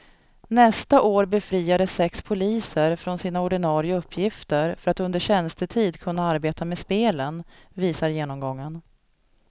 Nästa år befriades sex poliser från sina ordinarie uppgifter för att under tjänstetid kunna arbeta med spelen, visar genomgången.